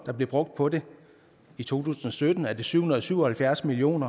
der blev brugt på det i to tusind og sytten er det syv hundrede og syv og halvfjerds million